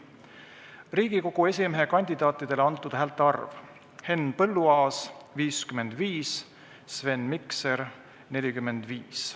Riigikogu esimehe kandidaatidele antud häälte arv: Henn Põlluaas – 55, Sven Mikser – 45.